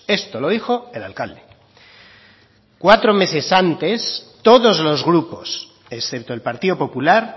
esto lo dijo el alcalde cuatro meses antes todos los grupos excepto el partido popular